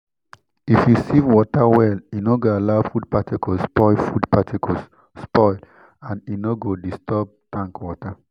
if you sieve water well e no go allow food particles spoil food particles spoil and e no go disturb tank water